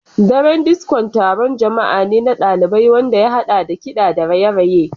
Daren Disko taron jama'a ne na ɗalibai wanda ya haɗa da kiɗa da raye-raye.